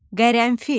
Qərənfil.